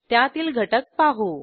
त्यातील घटक पाहू